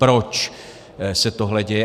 Proč se tohle děje?